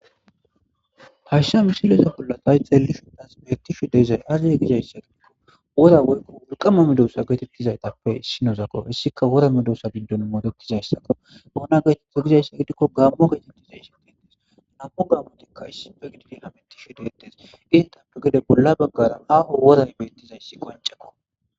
Tasha mishileza bollatay xeellisho das beetishe deezay azzay gizayssa gidikko wora woykko wulqama medoosa geetettizaytappe issinozako hissika wora medoosa bindon moodetizayssakko oona geetetta gizayssa gidikko gaammo geetettizaysi deettes namu gammotikka issi pekdi dinametishe deettes intappe gede bolla baggara aaho woray beettizayssi qoncekko